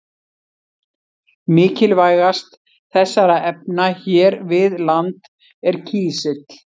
Mikilvægast þessara efna hér við land er kísill.